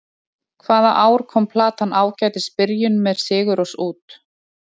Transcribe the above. Hvaða ár kom platan Ágætis byrjun, með Sigurrós út?